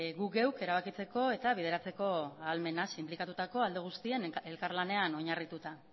gu geuk erabakitzeko eta bideratzeko ahalmena sinplikatutako alde guztien elkarlanean oinarrituta